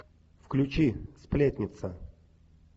включи сплетница